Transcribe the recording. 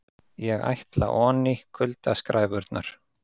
ÉG ÆTLA ONÍ, KULDASKRÆFURNAR